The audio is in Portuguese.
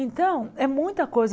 Então, é muita coisa.